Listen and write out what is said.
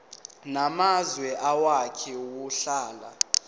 namazwe owake wahlala